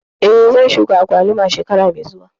Eh, zan shuka agwaluma shekara mai zuwa